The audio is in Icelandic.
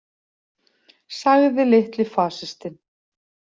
Sagði litli fasistinn.